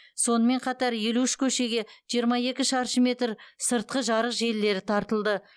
сонымен қатар елу үш көшеге жиырма екі шаршы метр сыртқы жарық желілері тартылды